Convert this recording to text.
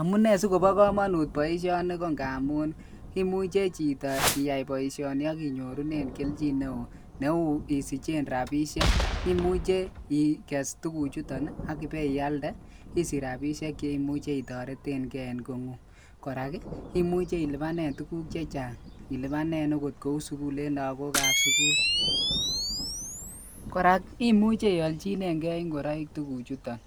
Amunee sikoba kamanut baishoni ko ngamun imuche Chito iyai boishoni akinyorunen keljin neon Neu isichen rabishek ,imeche Ike's tuguk chuton akiweiyaldei isich rabishek cheimuche itaretenbgei en atkan tugul en kongun, koraa komuche ilubanen tuguk chechang ilubanen Kou sukul en lagok ab sukul koraa imuche iyalchinen gei ingoroik AK tuguk chuton